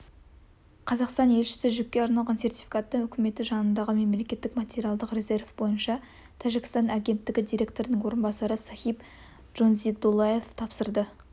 қазақстан елшісі жүкке арналған сертификатты үкіметі жанындағы мемлекеттік материалдық резерв бойынша тәжікстан агенттігі директорының орынбасары сохиб джонзиедуллоевқа тапсырды